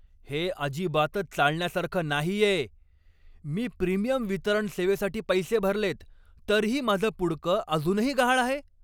हे अजिबातच चालण्यासारखं नाहीये! मी प्रिमियम वितरण सेवेसाठी पैसे भरलेत, तरीही माझं पुडकं अजूनही गहाळ आहे!